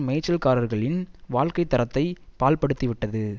மேய்ச்சல்காரர்களின் வாழ்க்கை தரத்தை பாழ்படுத்தி விட்டது